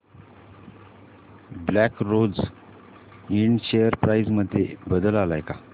black Rose Ind share price मध्ये बदल आलाय का